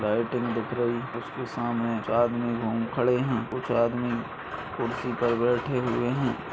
Lighting दिख रही उसके सामने खड़े हैं कुछ आदमी कुर्सी पर बैठे हुए हैं।